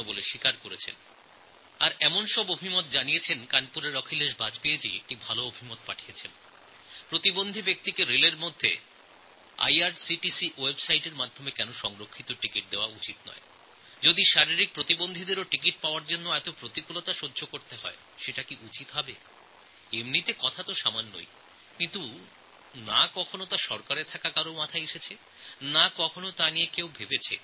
আর কিরকম গুরুত্বপূর্ণ মতামত এসেছে শুনুন কানপুর থেকে অখিলেশ বাজপেয়ী মহাশয় এক সুন্দর পরামর্শ পাঠিয়েছেন IRCTCর Websiteএর মাধ্যমে ট্রেনের টিকিট বুক করার সময় প্রতিবন্ধী ব্যক্তিদের জন্য কেন সংরক্ষণ রাখা যাবে না প্রতিবন্ধী ব্যক্তিদের টিকিট পাওয়ার জন্য এত ঝামেলার মোকাবিলা করা কি উচিত এখন এই কথাটা খুব ছোট কিন্তু কখনও সরকারী তরফে এটা নিয়ে ভাবা হয়নি বা কোনো বিচারবিবেচনা করা হয়নি